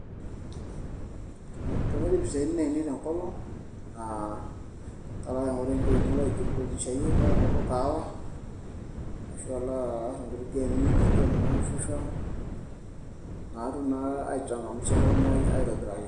tenaidip isiatin ainei tenkolong aa kolo ake aing'oru enkiti wueji nalo aijiburudishayie nalo aing'oru ol kahawa ashu alo aar inkuti gemi naijo naa fifa naatum naa ai changamsha elukunya ai aitobiraki.